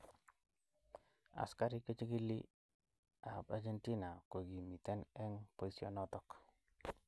Askarik chechigili ab Argentina kokimiten eng boisionoto.